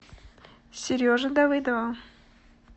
сереже давыдову